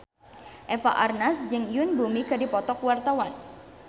Eva Arnaz jeung Yoon Bomi keur dipoto ku wartawan